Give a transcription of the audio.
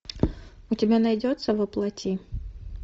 у тебя найдется во плоти